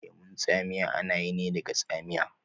Lemun tsamiya ana yi ne daga tsamiya